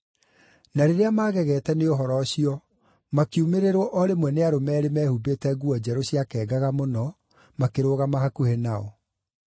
Na rĩrĩa maagegete nĩ ũhoro ũcio, makiumĩrĩrwo o rĩmwe nĩ arũme eerĩ mehumbĩte nguo njerũ ciakengaga mũno, makĩrũgama hakuhĩ nao.